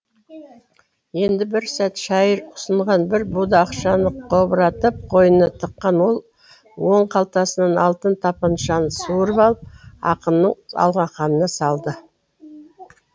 енді бір сәт шайыр ұсынған бір буда ақшаны қобыратып қойнына тыққан ол оң қалтасынан алтын тапаншаны суырып алып ақынның алақанына салды